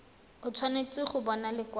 o tshwanetse go bona lekwalo